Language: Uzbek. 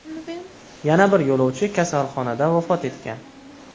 Yana bir yo‘lovchi kasalxonada vafot etgan.